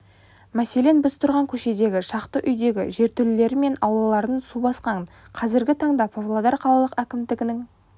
мәселен біз тұрған көшедегі шақты үйдің жертөлелері мен аулаларын су басқан қазіргі таңда павлодар қалалық әкімдігінің